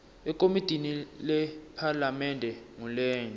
ekomitini lephalamende ngulenye